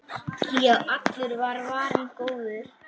Já, allur var varinn góður!